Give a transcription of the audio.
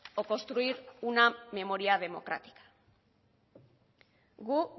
o construir una memoria democrática gu